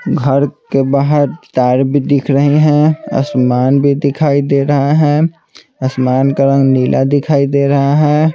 घर के बाहर तार भी दिख रहे है आसमान भी दिखाई दे रहा है आसमान का रंग नीला दिखाई दे रहा है।